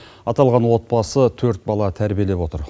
аталған отбасы төрт бала тәрбиелеп отыр